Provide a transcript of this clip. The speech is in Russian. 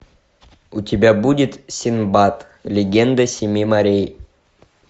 у тебя будет синдбад легенда семи морей